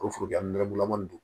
O foro dilan nɛgɛdugulama don